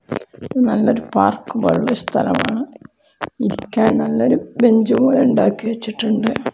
നല്ലൊരു പാർക്ക് പോലെയുള്ള സ്ഥലമാണ് ഇരിക്കാൻ നല്ലൊരു ബെഞ്ചുപോലെ ഉണ്ടാക്കി വച്ചിട്ടുണ്ട്.